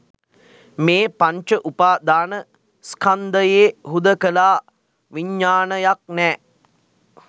මේ පංච උපාදාන ස්කන්ධයේ හුදකලා විඤ්ඤාණයක් නෑ